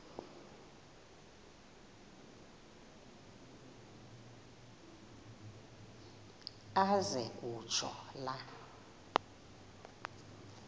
aze kutsho la